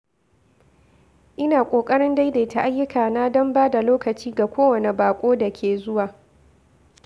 Ina ƙoƙarin daidaita ayyukana don ba da lokaci ga kowane baƙo da ke zuwa.